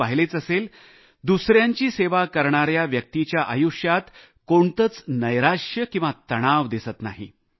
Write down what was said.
तुम्ही पाहिलेच असेल दुसऱ्यांची सेवा करणाऱ्या व्यक्तीच्या आयुष्यात कोणतेच नैराश्य किंवा तणाव दिसत नाही